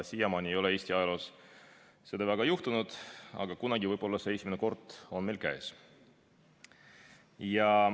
Siiamaani ei ole Eesti ajaloos seda väga juhtunud, aga kunagi võib see esimene kord olla meil käes.